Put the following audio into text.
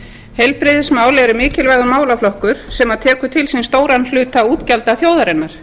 heilbrigðismál eru mikilvægur málaflokkur sem tekur til sín stóran hluta útgjalda þjóðarinnar